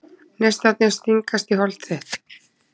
Neistarnir stingast í hold þitt.